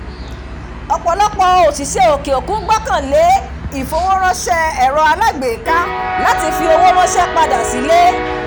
ọ̀pọ̀lọpọ̀ òṣìṣẹ́ òkè òkun gbọ́kànlé ìfowóránṣẹ́ èrò alágbèéká láti fi ọwọ́ ránṣẹ́ padà sí ilé